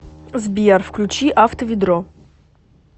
сбер включи авто ведро